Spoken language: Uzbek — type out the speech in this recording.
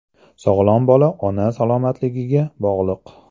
Sog‘lom bola ona salomatligiga bog‘liq.